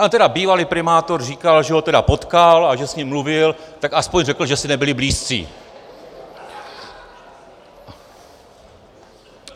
Ale teda bývalý primátor říkal, že ho teda potkal a že s ním mluvil, tak aspoň řekl, že si nebyli blízcí.